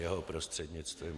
Jeho prostřednictvím.